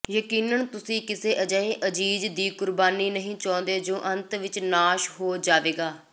ਯਕੀਨਨ ਤੁਸੀਂ ਕਿਸੇ ਅਜਿਹੇ ਅਜ਼ੀਜ਼ ਦੀ ਕੁਰਬਾਨੀ ਨਹੀਂ ਚਾਹੁੰਦੇ ਜੋ ਅੰਤ ਵਿਚ ਨਾਸ਼ ਹੋ ਜਾਵੇਗਾ